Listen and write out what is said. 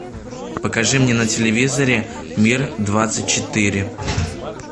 покажи мне на телевизоре мир двадцать четыре